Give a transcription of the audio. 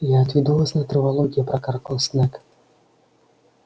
я отведу вас на травологию прокаркал снегг